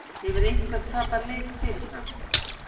Hefur einhver tapað leik fyrirfram?